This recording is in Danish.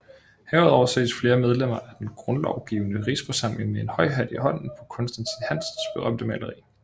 Herudover ses flere medlemmer af den Grundlovgivende Rigsforsamling med en høj hat i hånden på Constantin Hansens berømte maleri